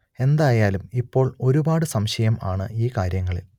എന്തായാലും ഇപ്പോൾ ഒരുപാട് സംശയം ആണ് ഈ കാര്യങ്ങളിൽ